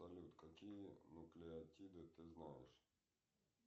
салют какие нуклеотиды ты знаешь